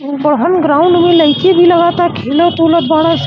बड़हन ग्राउंड में लइकी भी लागता खेलत उलत बाड़न --